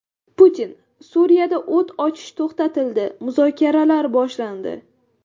Putin: Suriyada o‘t ochish to‘xtatildi, muzokaralar boshlandi.